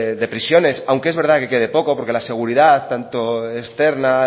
de prisiones aunque es verdad que quede poco porque la seguridad tanto externa